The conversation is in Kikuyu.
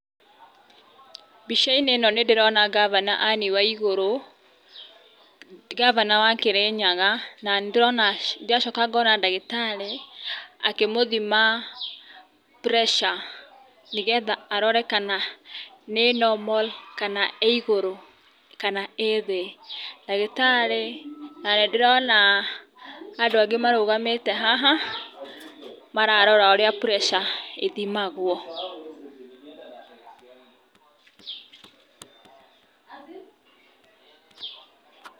Mbicainĩ ĩno nĩ ndĩrona ngabana Anne Waigũrũ, ngabana wa Kĩrĩnyaga, na nĩ ndĩrona ndĩracoka ngona ndagĩtarĩ akĩmũthima Pressure nĩ getha arore kana nĩ normal kana ĩ igũrũ kana ĩ thĩ. Ndagĩtarĩ na nĩ ndĩrona andũ angĩ marũgamĩte haha mararora ũrĩa Pressure ithĩmagwo.